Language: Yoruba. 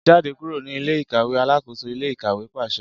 Jade kuro ni ile-ikaweAlakoso ile-ikawe paṣẹ